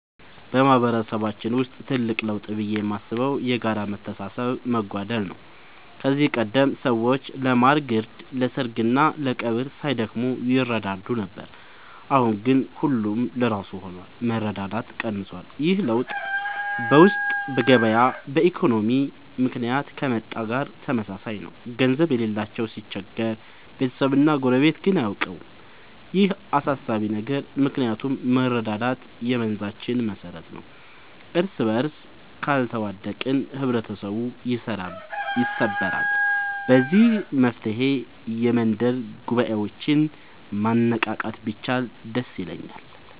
በማህበረሰባችን ውስጥ ትልቅ ለውጥ ብዬ የማስበው የጋራ መተሳሰብ መጓደል ነው። ከዚህ ቀደም ሰዎች ለማር ግርድ፣ ለሰርግና ለቀብር ሳይደክሙ ይረዳዱ ነበር። አሁን ግን ሁሉም ለራሱ ሆኗል፤ መረዳዳት ቀንሷል። ይህ ለውጥ በገበያ ኢኮኖሚ ምክንያት ከመጣ ጋር ተመሳሳይ ነው፤ ገንዘብ የሌለው ሲቸገር ቤተሰብና ጎረቤት ግን አያውቀውም። ይህ አሳሳቢ ነው ምክንያቱም መረዳዳት የመንዛችን መሰረት ነበር። እርስበርስ ካልተዋደቅን ህብረተሰቡ ይሰበራል። ለዚህ መፍትሔ የመንደር ጉባኤዎችን ማነቃቃት ቢቻል ደስ ይለኛል።